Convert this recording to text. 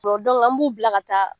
an b'u bila ka taa